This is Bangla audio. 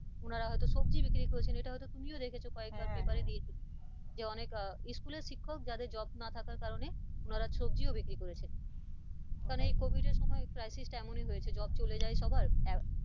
ওনারে হয়তো সবজি বিক্রি এটা হয়তো তুমিও দেখেছো কয়েকবার paper এ দিয়েছিল যে আহ অনেক school এর শিক্ষক যাদের job না থাকার কারণে ওনারা সবজিও বিক্রিও করেছেন কারণ এই covid এর সময় crisis টা এমনি হয়েছে job চলে যাই সবার,